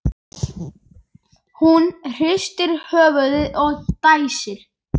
Hún hristir höfuðið og dæsir.